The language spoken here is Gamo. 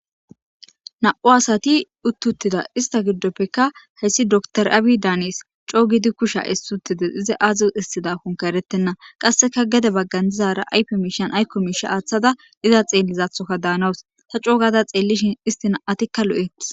Na'u asati uttuttida ista giddoppekka heyssi dotr aabi daanies coo gidi kusha essutide iza aazi hissida konka eretenna qasseka gede baggan dizara aype miishan aykko miisha aaththada iza xeellizathoka daanawus ta coogada xeellishin istina atikka lu'eth.